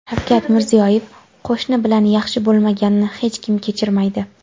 Shavkat Mirziyoyev: Qo‘shni bilan yaxshi bo‘lmaganni hech kim kechirmaydi.